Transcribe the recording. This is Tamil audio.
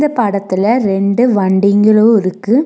இந்த படத்துல ரெண்டு வண்டிங்களு இருக்கு.